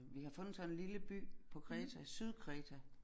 Vi har fundet sådan en lille by på Kreta Sydkreta